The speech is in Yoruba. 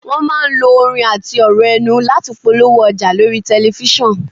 Wọn máa ń lo orin àti ọ̀rọ̀ ẹnu láti polówó ọjà lórí tẹ̀lifísàn